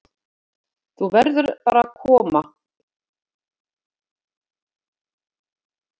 Þú verður bara að koma þér burt, elskan mín, svona, farðu nú.